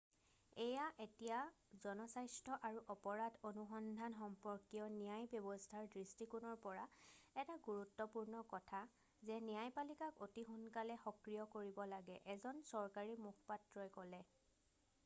এয়া এতিয়া জনস্বাস্থ্য আৰু অপৰাধ অনুসন্ধান সম্পৰ্কীয় ন্যায় ব্যৱস্থাৰ দৃষ্টিকোণৰ পৰা এটা গুৰুত্বপূৰ্ণ কথা যে ন্যায়পালিকাক অতি সোনকালে সক্ৰিয় কৰিব লাগে এজন চৰকাৰী মুখপাত্ৰই ক'লে